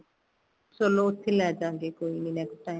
ਚਲੋ ਉੱਥੇ ਹੀ ਲੈਜਾਗੇ ਕੋਈ ਨੀਂ next time